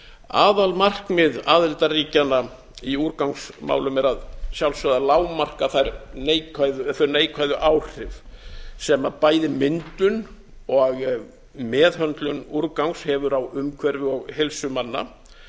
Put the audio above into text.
aðalmarkmið aðildarríkjanna í úrgangsmálum er að sjálfsögðu að lágmarka þau neikvæðu áhrif sem bæði myndun og meðhöndlun úrgangs hefur á umhverfi og heilsu manna